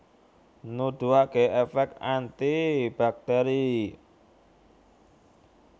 Nuduhaké èfèk anti baktèri